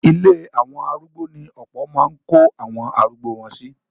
Ilé àwọn arúgbo ní ọ̀pọ̀ máa ń kó àwọn arugbo wọn sí.